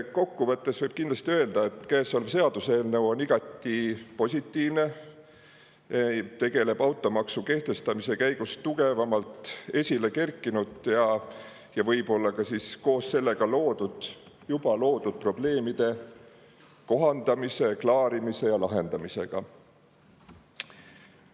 Kokku võttes võib kindlasti öelda, et käesolev seaduseelnõu on igati positiivne, tegeleb automaksu kehtestamise käigus tugevamalt esile kerkinud ja võib-olla ka koos sellega juba loodud probleemide kohandamise, klaarimise ja lahendamisega.